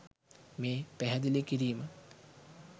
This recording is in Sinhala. මේ පැහැදිලි කිරීම